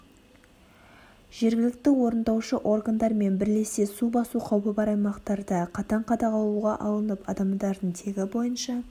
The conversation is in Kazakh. жергілікті орындаушы органдармен бірлесе су басу қаупі бар аймақтарда қатаң қадағалуға алынып адамдардың тегі бойынша